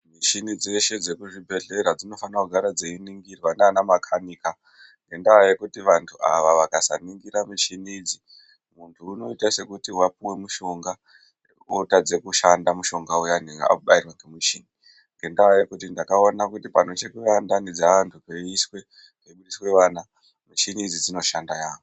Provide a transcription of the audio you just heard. Michini dzese dzekuchibhedhlera dzinofane kugara dzichiningirwa ngana makanika. Ngendaa yekuti vantu ava vakasaningira michini idzi, muntu unoita sekuti wapiwa mushonga wotadza kushanda mushonga uyani aubayirwe ngemuchini, ngendaa yekuti ndakaona kuti panochekwa ndani dzeantu, peibudiswe ana, michini idzi dzinoshanda yaamho.